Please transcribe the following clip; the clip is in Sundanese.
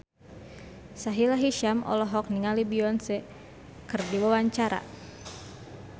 Sahila Hisyam olohok ningali Beyonce keur diwawancara